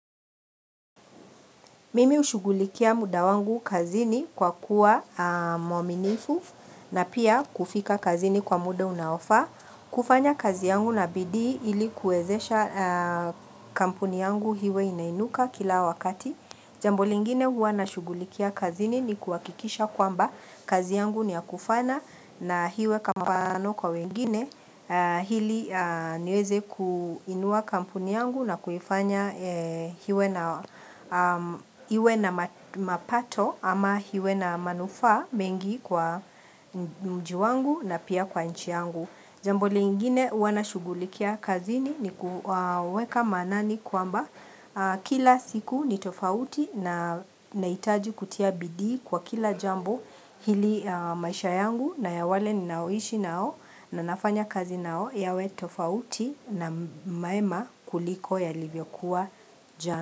Mimi hushugulikia muda wangu kazini kwa kuwa mwaminifu na pia kufika kazini kwa muda unaofaa. Kufanya kazi yangu na bidii ili kuezesha kampuni yangu iwe inainuka kila wakati. Jambo lingine huwa nashugulikia kazini ni kuhakikisha kwamba kazi yangu ni ya kufaana na iwe kama mfano kwa wengine ili niweze kuinua kampuni yangu na kufanya iwe na iwe na mapato ama iwe na manufaa mengi kwa mji wangu na pia kwa nchi yangu. Jambo lingine huwa nashugulikia kazini ni kuweka manani kwamba kila siku ni tofauti nahitaji kutia bidii kwa kila jambo ili maisha yangu na ya wale ninaoishi nao na nafanya kazi nao yawe tofauti na mema kuliko yalivyokuwa jana.